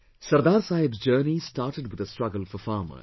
Sardar Saheb's journey started with a struggle for farmers